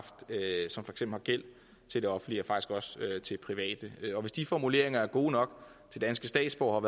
gæld til det offentlige og til private hvis de formuleringer er gode nok til danske statsborgere og